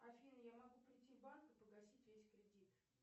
афина я могу прийти в банк и погасить весь кредит